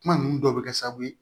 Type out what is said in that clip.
Kuma ninnu dɔw bɛ kɛ sababu ye